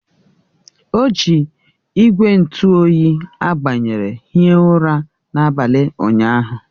O ji igwe ntụ oyi a gbanyere hie ụra n'abalị ụnyahụ